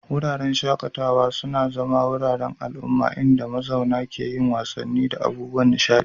Wuraren shaƙatawa sun zama wuraren zama na al'umma inda mazauna ke yin wasanni da abubuwan nishaɗi.